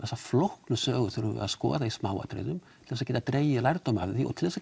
þessa flóknu sögu þurfum við að skoða í smáatriðum til þess að geta dregið lærdóm af því og til þess að